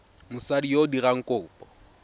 mosadi yo o dirang kopo